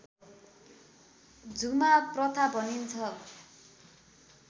झुमा प्रथा भनिन्छ